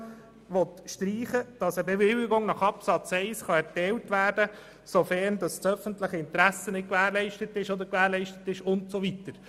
Warum will man streichen, dass eine Bewilligung nach Absatz 1 erteilt werden kann, sofern das öffentliche Interesse nicht gewährleistet ist oder gewährleistet ist usw.?